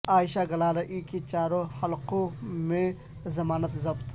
عائشہ گلالئی کی چاروں حلقو ں میں ضمانت ضبط